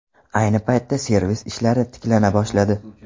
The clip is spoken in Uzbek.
Ayni paytda servis ishlari tiklana boshladi.